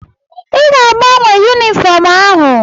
Ị ga-agbanwe yunifọọm ahụ.